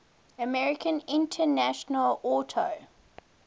american international auto